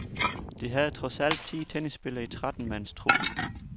De havde trods alt ti tennisspillere i tretten mands truppen.